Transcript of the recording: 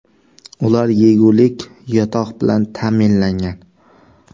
Ular yegulik, yotoq bilan ta’minlangan.